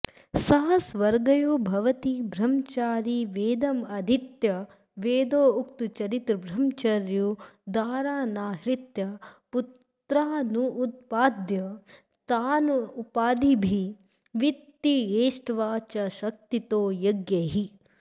स स्वर्ग्यो भवति ब्रह्मचारी वेदमधीत्य वेदोक्ताचरितब्रह्मचर्यो दारानाहृत्य पुत्रानुत्पाद्य ताननुपादिभिर्वितत्येष्ट्वा च शक्तितो यज्ञैः